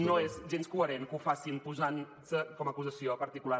no és gens coherent que ho facin posant se com a acusació particular